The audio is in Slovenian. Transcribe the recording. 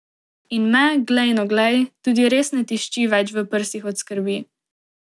In me, glej, no, glej, tudi res ne tišči več v prsih od skrbi.